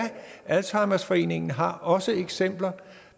alzheimerforeningen har også eksempler